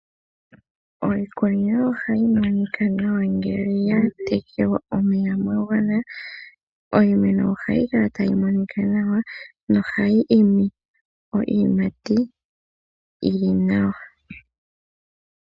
Iikunino oha yi monika nawa ngele ya tekelwa omeya ga gwana, iimeno oha yi kala ta yi monika nawa nohayi imi iiyimati yi li nawa.